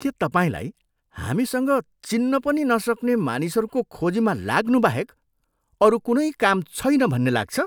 के तपाईँलाई हामीसँग चिन्न पनि नसक्ने मानिसहरूको खोजीमा लाग्नु बाहेक अरू कुनै काम छैन भन्ने लाग्छ?